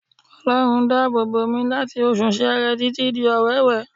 Ọlọ́run dá àbò bòmí láti oṣù Seere títí dé Ọwẹ́wẹ